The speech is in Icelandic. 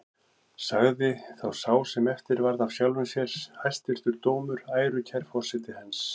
Sagði þá sá sem eftir varð af sjálfum sér: Hæstvirtur dómur, ærukær forseti hans!